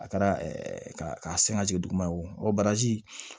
A kɛra ka sen ka jigin duguma ye wo baraji